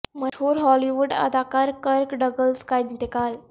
مشہور Hollywood اداکار Kirk Douglas کا انتقال